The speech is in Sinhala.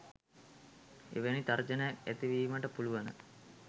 එවැනි තර්ජනයක් ඇති වීමට පුළුවන.